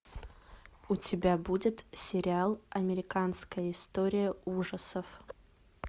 у тебя будет сериал американская история ужасов